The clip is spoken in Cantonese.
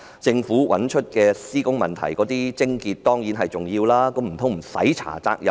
政府找出施工問題的癥結當然重要，但難道無須調查責任誰屬？